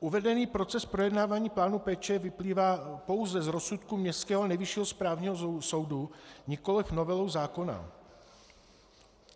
Uvedený proces projednávání plánu péče vyplývá pouze z rozsudku městského Nejvyššího správního soudu, nikoliv novelou zákona.